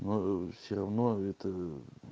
ну ээ все равно это ээ